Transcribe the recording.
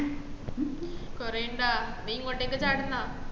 കൊറേ ഇണ്ടോ നീ ഇങ്ങോട്ടേക്ക് ചാടുന്നോ